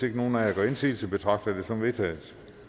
ikke nogen af jer gør indsigelse betragter jeg det som vedtaget